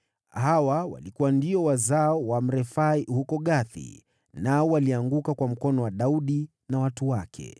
Hawa walikuwa ndio wazao wa Warefai huko Gathi, nao walianguka kwa mikono ya Daudi na watu wake.